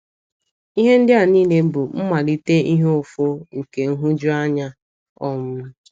Ihe ndị a niile bụ mmalite ihe ụfụ nke nhụjuanya. um ”